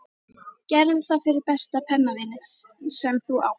Gerðu það fyrir besta pennavininn sem þú átt.